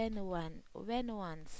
1 ounce